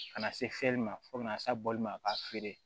Ka na se fiyɛli ma fo kana se ma k'a feere